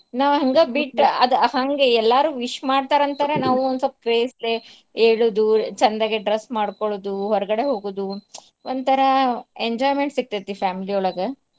ನಾವ್ ಹಂಗ ಬಿಟ್ ಅದ ಹಂಗ ಎಲ್ಲಾರೂ wish ಮಾಡ್ತಾರ್ ಅಂತಾರ ನಾವು ಒನ್ಸಲ್ಪ ನಾವು craze ಲೆ ಏಳೂದು ಚಂದಗೆ dress ಮಾಡ್ಕೊಳೋದು ಹೊರ್ಗಡೆ ಹೋಗುದು ಒಂತರಾ enjoyment ಸಿಗ್ತೇತಿ family ಒಳ್ಗ .